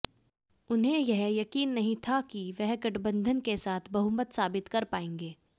उन्हें यह यकीन नहीं था कि वह गठबंधन के साथ बहुमत साबित कर पाएंगे